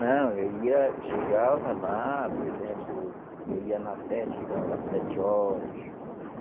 Não, eu ia, chegava lá, por exemplo, eu ia na festa e chegava lá sete horas.